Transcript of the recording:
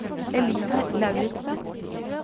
Eline Lauritzen